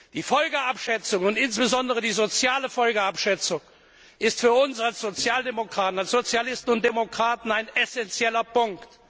Die Folgenabschätzung und insbesondere die soziale Folgenabschätzung ist für uns als Sozialdemokraten, als Sozialisten und Demokraten, ein essenzieller Punkt.